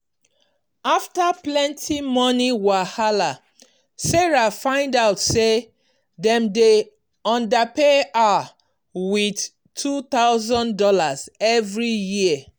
after plenty money wahala sarah find out say dem dey underpay her with two thousand dollars every year.